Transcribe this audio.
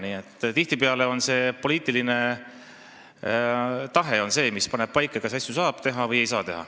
Nii et tihtipeale on poliitiline tahe see, mis paneb paika, kas asju saab teha või ei saa.